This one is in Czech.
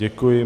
Děkuji.